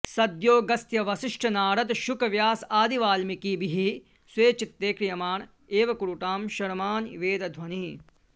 सद्योऽगस्त्यवसिष्ठनारदशुकव्यासादिवाल्मीकिभिः स्वे चित्ते क्रियमाण एव कुरुतां शर्माणि वेदध्वनिः